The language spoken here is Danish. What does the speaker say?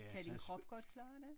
Kan din krop godt klare det?